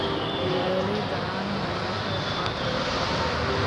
Beeralayda caanaha ayaa ka qayb qaata dhaqaalaha.